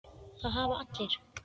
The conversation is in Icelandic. Það hafa allir